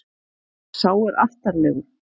Sá er artarlegur.